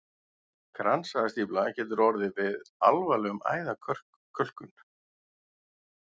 Kransæðastífla getur orðið við alvarlega æðakölkun.